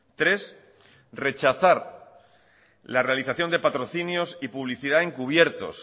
tres rechazar la realización de patrocinios y publicidad encubiertos